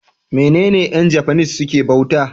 menene Yan japanese suke bauta?